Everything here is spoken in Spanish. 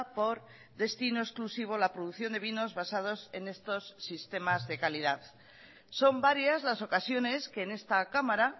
por destino exclusivo la producción de vinos basados en estos sistemas de calidad son varias las ocasiones que en esta cámara